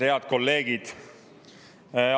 Head kolleegid!